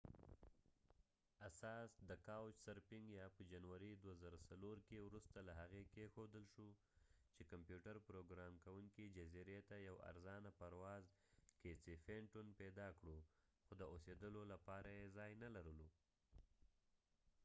د کاوچ سرفنګ یا couch surfing اساس په جنوری 2004 کې وروسته له هغې کیښودل شو چې کمپیوتر پروګرام کوونکي casey fenton جزیرې ته یو ارزانه پرواز پیدا کړو خو د اوسیدلو لپاره یې ځای نلرلو